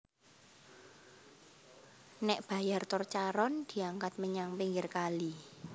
Nék bayar tol Charon diangkat menyang pinggir kali